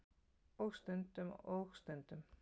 Og stundum. og stundum.